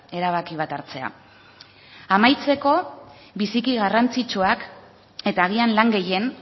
erabaki bat hartzea amaitzeko biziki garrantzitsuak eta agian lan gehien